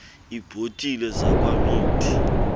iibhotile zakwa mead